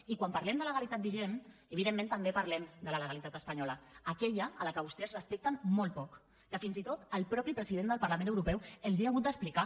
i quan parlem de legalitat vigent evidentment també parlem de la legalitat espanyola aquella que vostès respecten molt poc que fins i tot el mateix president del parlament europeu els hi ha hagut d’explicar